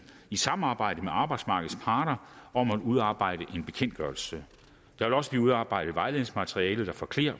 i samarbejdet med arbejdsmarkedets parter om at udarbejde en bekendtgørelse der vil også blive udarbejdet vejledningsmateriale der forklarer